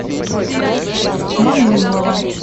мануйлова